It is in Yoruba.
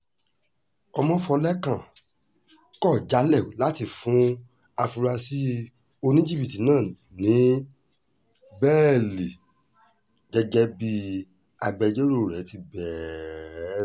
ọmọfọ́lẹ́kan kọ̀ jálẹ̀ láti fún afurasí oníjìbìtì náà ní bẹ́ẹ́lí gẹ́gẹ́ bí agbẹjọ́rò rẹ̀ ti bẹ̀ẹ̀rẹ̀